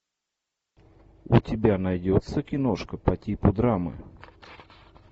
у тебя найдется киношка по типу драмы